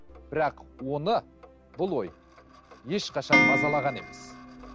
бірақ оны бұл ой ешқашан мазалаған емес